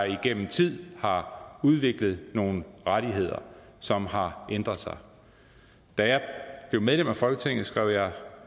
igennem tid har udviklet nogle rettigheder som har ændret sig da jeg blev medlem af folketinget skrev jeg